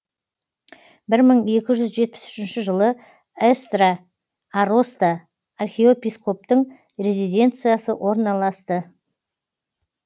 бір мың екі жүз жетпіс үшінші жылы эстра ароста архиепископтың резиденциясы орналасты